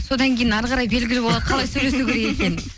содан кейін ары қарай белгілі болады қалай сөйлесу керек екенін